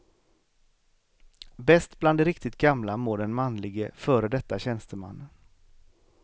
Bäst bland de riktigt gamla mår den manlige, före detta tjänstemannen.